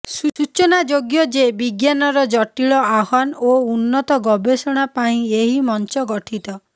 ସୂଚନାଯୋଗ୍ୟ ଯେ ବିଜ୍ଞାନର ଜଟିଳ ଆହ୍ୱାନ ଓ ଉନ୍ନତ ଗବେଷଣା ପାଇଁ ଏହି ମଞ୍ଚ ଗଠିତ